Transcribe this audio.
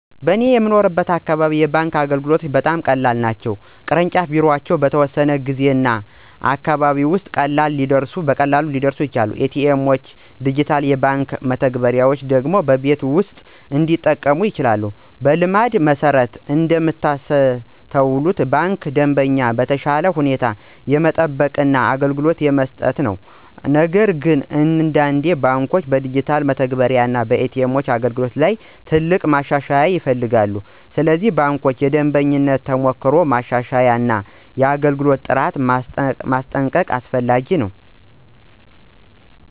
በእኔ የምኖርበት አካባቢ የባንክ አገልግሎቶች በጣም ቀላል ናቸው። የቅርንጫፍ ቢሮዎች በተወሰነ ጊዜ እና አካባቢ ውስጥ ቀላል ሊደርሱ ይችላሉ። ኤ.ቲ.ኤም እና ዲጂታል የባንክ መተግበሪያዎች ደግሞ በቤት ውስጥ እንዲጠቀሙ ይቻላሉ። በልምድ መሠረት እንደምታስተውሉ ባንኩ ደንበኞችን በተሻለ ሁኔታ የሚጠብቅ እና አገልግሎት የሚሰጥ ነው። ነገር ግን አንዳንድ ባንኮች በዲጂታል መተግበሪያ እና ኤ.ቲ.ኤም አገልግሎት ላይ ትልቅ ማሻሻያ ይፈልጋሉ። ስለዚህ ባንኮች የደንበኞችን ተሞክሮ ማሻሻል እና የአገልግሎት ጥራት ማስጠንቀቅ አስፈላጊ ነው።